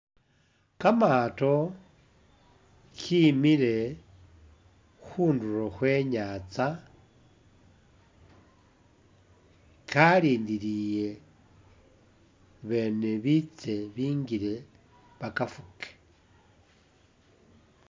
Kamato kimile khundulo khwe nyatsa kalindiliye bene bitse bingile bakafuke.